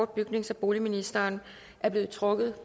bygnings og boligministeren er blevet trukket